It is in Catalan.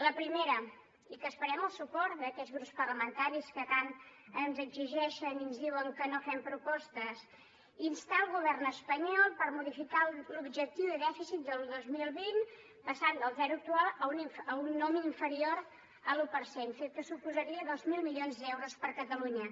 la primera i que esperem el suport d’aquests grups parlamentaris que tant ens exigeixen i ens diuen que no fem propostes instar el govern espanyol per modificar l’objectiu de dèficit del dos mil vint passant del zero actual a un nombre inferior a l’un per cent fet que suposaria dos mil milions d’euros per a catalunya